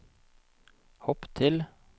hopp til